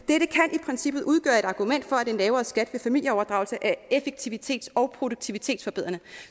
i princippet udgøre et argument for at en lavere skat ved familieoverdragelse er effektivitets og produktivitetsforbedrende